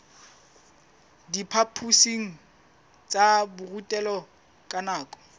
diphaphosing tsa borutelo ka nako